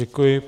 Děkuji.